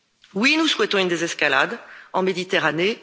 Oui, nous souhaitons une désescalade en Méditerranée.